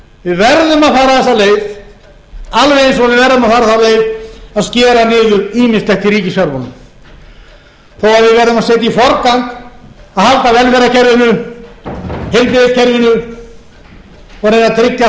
við verðum að fara þessa leið alveg eins og við verðum að fara þá leið að skera niður ýmislegt í ríkisfjármálum þó við verðum að setja í